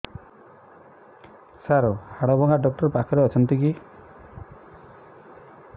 ସାର ହାଡଭଙ୍ଗା ଡକ୍ଟର ପାଖରେ ଅଛନ୍ତି କି